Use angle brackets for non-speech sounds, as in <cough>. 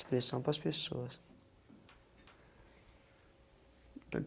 Expressão para as pessoas. <unintelligible>